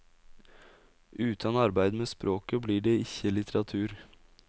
Utan arbeid med språket blir det ikkje litteratur.